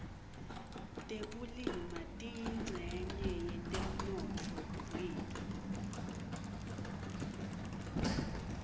tekulima tiyincenye yetemnotfo wetfu